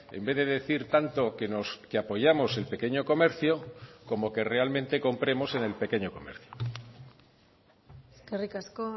en vez de decir tanto que apoyamos el pequeño comercio como que realmente compremos en el pequeño comercio eskerrik asko